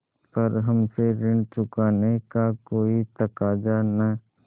पर हमसे ऋण चुकाने का कोई तकाजा न